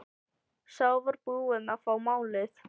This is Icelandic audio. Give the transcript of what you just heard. Sá var búinn að fá málið!